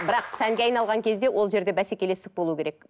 бірақ сәнге айналған кезде ол жерде бәсекелестік болуы керек